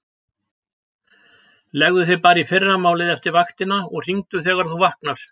Leggðu þig bara í fyrramálið eftir vaktina og hringdu þegar þú vaknar.